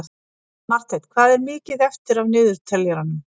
Marteinn, hvað er mikið eftir af niðurteljaranum?